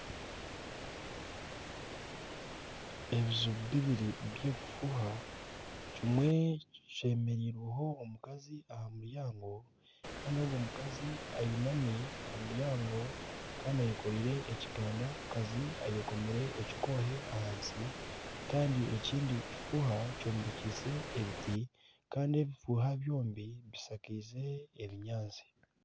Ebiju bibiri by'obufuuha kimwe kyemereirweho omukazi aha muryango kandi ogwo mukazi ainami aha muryango kandi ayekoreire ekigandakazi ayekomire ekikoohe ahansi kandi ekindi kifuuha kyombekyise ebiti kandi ebi bifuuha byombi bishakaize ebinyaatsi